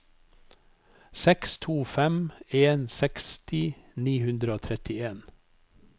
seks to fem en seksti ni hundre og trettien